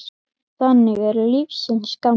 Þannig er lífsins gangur.